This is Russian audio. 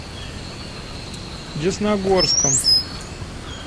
десногорском